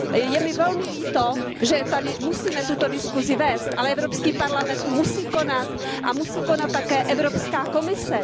Je mi velmi líto, že tady musíme tuto diskusi vést, ale Evropský parlament musí konat a musí konat také Evropská komise.